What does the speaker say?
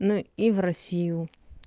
ну и в россию